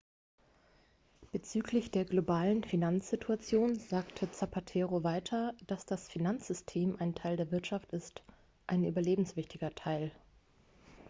bezüglich der globalen finanzsituation sagte zapatero weiter dass das finanzsystem ein teil der wirtschaft ist ein überlebenswichtiger teil